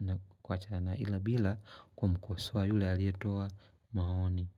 na kuachana ila bila kumkosoa yule aliyetoa maoni.